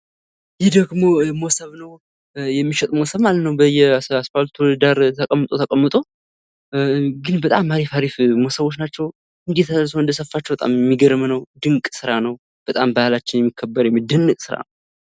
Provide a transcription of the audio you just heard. ይህ ደግሞ ሞሶብ ነዉ። የሚሸጥ ሞሶብ ማለት ነዉ በየአስፓልቱ ዳር ተቀምጦ ተቀምጦ፤ ግን በጣም አሪፍ አሪፍ ሞሶቦች ናቸዉ። እንዴት ሰዉ እንደሰፋቸዉ በጣም የሚገርም ነዉ! ድንቅ ስራ ነዉ! በጣም ባህላችን የሚከበር የሚደነቅ ነዉ።